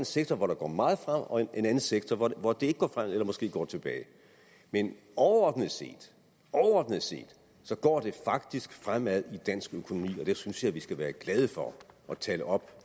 sektor hvor det går meget frem og en anden sektor hvor det ikke går frem eller måske går tilbage men overordnet set overordnet set går det faktisk fremad i dansk økonomi og det synes jeg vi skal være glade for og tale op